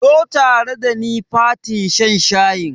Zo tare dani fatin shan shayin.